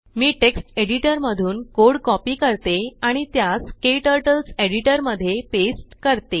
मी text editor मधून code copy करते आणि त्यास क्टर्टल्स एडिटर मध्ये पेस्ट करते